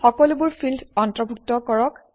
সকলোবোৰ ফিল্ড অন্তৰ্ভুক্ত কৰক